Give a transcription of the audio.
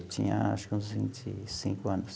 Ele tinha, acho que uns vinte e cinco anos.